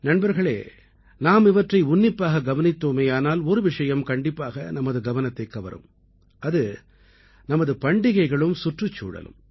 நண்பர்களே நாம் இவற்றை உன்னிப்பாக கவனித்தோமேயானால் ஒரு விஷயம் கண்டிப்பாக நமது கவனத்தைக் கவரும் அது நமது பண்டிகைகளும் சுற்றுச்சூழலும்